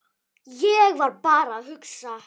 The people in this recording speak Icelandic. Ég var bara að hugsa.